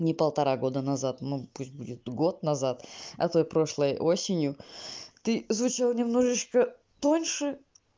ни полтора года назад ну пусть будет год назад а той прошлой осенью ты звучал немножечко тоньше